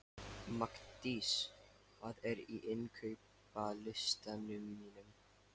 Magndís, hvað er á innkaupalistanum mínum?